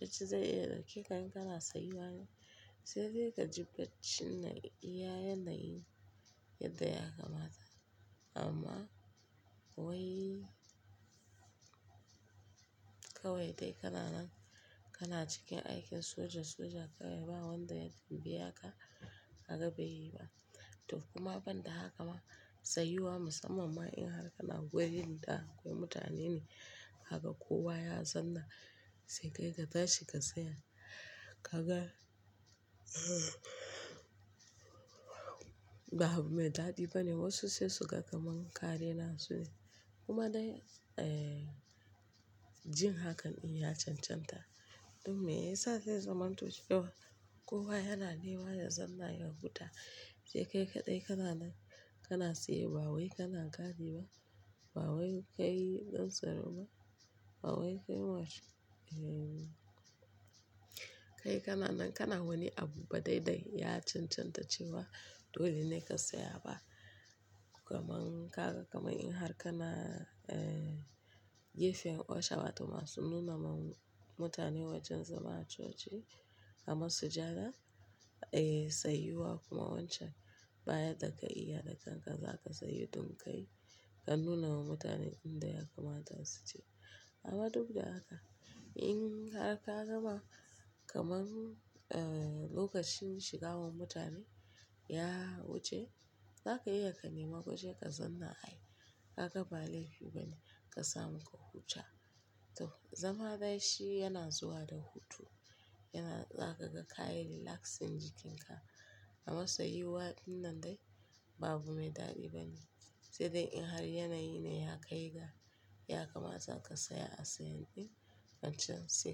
bacci zai iya ɗauke ka in kana tsayuwa yau. Sai dai ka ji bacci na iya yanayi yadda ya kamata. Amma wai kawai dai kananan kana cikin aikin soja. Soja kawai ba wanda, ya biya ka, haka kaga bai yi ba. To kuma ban da haka ma tsayuwa musamman ma in har kana wurin da akwai mutane ne, haka kowa ya zanna sai kai ka tashi ka tsaya. Haka babu mai daɗi bane. Wasu sai suga kaman ka renasu ne. Kuma dai, eh, jin hakan in ya cancanta, duk me yasa zai zaman to cewa. Kowa yana neman ya zanna ya huta. Sai kai kaɗai kananan kana tsaye. Ba wai kana gadi ba. Ba wai kai ɗan tsaro ba. Ba wai kai wacce me. Eh. Kai kananan kana wani abu ba. Dai dai ya cancanta cewa dole ne ka tsaya ba. Kaman kaga kaman in har kana, eh, gefen Osha wato masu nuna ma mutane wajen zama a coci. Ama su jara, eh, tsayuwa kuma wancan. Bayan da ka iya da kanka za ka tsayu don ƙai, ka nuna wa mutane inda ya kamata su je. Amma duk da haka, in har ka gama kaman, eh, lokacin shiga wa mutane ya wuce, za ka iya ka nemi gwaje ka zanna ai. Kaga ba laifi bane ka samu ka huta. To zama dai shi yana zuwa da hutu. Yana za ka ga kayi relaxing jikinka. Amma sayuwa dinnan dai babu mai daɗi bane. Sai dai in har yanayi ne ya kai ga ya kamata ka saya a sayen ɗin, fancen sai.